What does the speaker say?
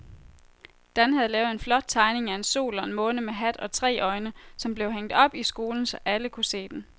Dan havde lavet en flot tegning af en sol og en måne med hat og tre øjne, som blev hængt op i skolen, så alle kunne se den.